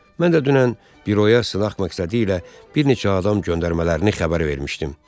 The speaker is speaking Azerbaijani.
Mən də dünən büroya sınaq məqsədi ilə bir neçə adam göndərmələrini xəbər vermişdim.